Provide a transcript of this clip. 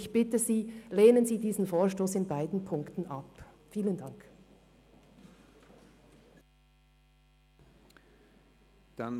Ich bitte Sie, diesen Vorstoss in beiden Ziffern abzulehnen.